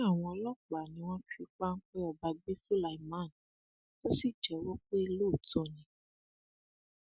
ó ní àwọn ọlọpàá ni wọn fi páńpẹ ọba gbé sulaiman tó sì jẹwọ pé lóòótọ ni